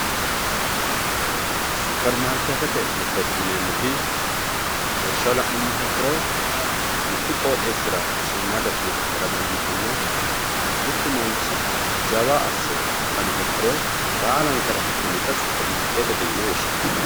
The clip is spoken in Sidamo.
supermaarikeetete mirteeti yineemoti lawishshaho la'numoha ikkiro mittu qooxeesira shiimaadda suqqa heera dandiitanno mittu manchi jawa asse faniha ikkiro baalankare afi'nanita supermaarikeetete mirteeti yine woshshinanni.